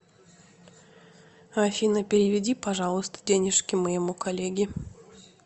афина переведи пожалуйста денежки моему коллеге